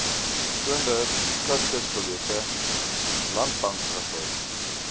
toonder skatkisbiljette landbankwissels